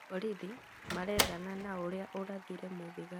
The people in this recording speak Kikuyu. Borithi marethana na ũrĩa ũrathire mũthigari